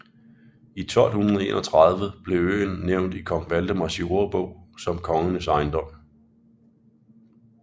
I 1231 blev øen nævnt i Kong Valdemars Jordebog som kongens ejendom